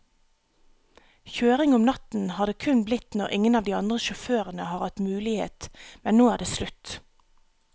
Kjøring om natten har det kun blitt når ingen av de andre sjåførene har hatt mulighet, men nå er det slutt.